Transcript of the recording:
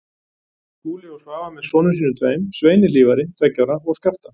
Skúli og Svava með sonum sínum tveim, Sveini Hlífari, tveggja ára, og Skafta